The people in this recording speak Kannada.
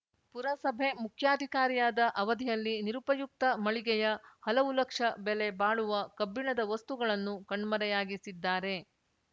ಪುರಸಭೆ ಮುಖ್ಯಾಧಿಕಾರಿಯಾದ ಅವಧಿಯಲ್ಲಿ ನಿರುಪಯುಕ್ತ ಮಳಿಗೆಯ ಹಲವು ಲಕ್ಷ ಬೆಲೆ ಬಾಳುವ ಕಬ್ಬಿಣದ ವಸ್ತುಗಳನ್ನು ಕಣ್ಮರೆಯಾಗಿಸಿದ್ದಾರೆ